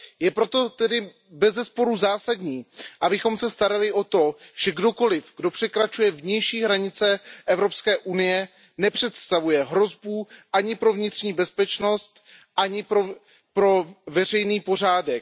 Je proto tedy bezesporu zásadní, abychom se starali o to, že kdokoliv, kdo překračuje vnější hranice Evropské unie, nepředstavuje hrozbu ani pro vnitřní bezpečnost, ani pro veřejný pořádek.